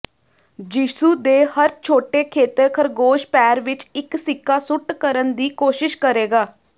ਯਿਸੂ ਦੇ ਹਰ ਛੋਟੇ ਖੇਤਰ ਖਰਗੋਸ਼ ਪੈਰ ਵਿੱਚ ਇੱਕ ਸਿੱਕਾ ਸੁੱਟ ਕਰਨ ਦੀ ਕੋਸ਼ਿਸ਼ ਕਰੇਗਾ